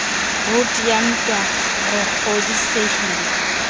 roud ya wto re kgodisehile